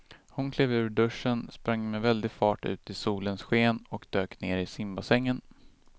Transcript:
Hon klev ur duschen, sprang med väldig fart ut i solens sken och dök ner i simbassängen.